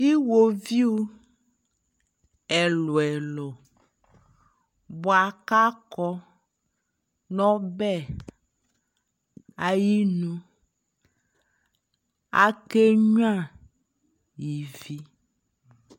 iwɔviʋ ɛlʋɛlʋ bʋakʋ akɔ nʋ ɔbɛ ayinʋ akɛ nyʋa ivi